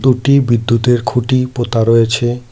দুটি বিদ্যুতের খুঁটি পোতা রয়েছে।